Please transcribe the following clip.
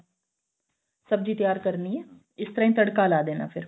ਸਬਜੀ ਤਿਆਰ ਕਰਨੀ ਏ ਇਸ ਤਰ੍ਹਾਂ ਹੀ ਤੜਕਾ ਲਾ ਦੇਣਾ ਫਿਰ